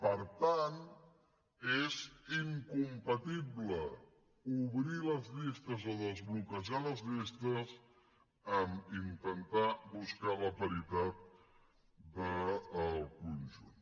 per tant és incompatible obrir les llistes o desbloquejar les llistes amb intentar buscar la paritat del conjunt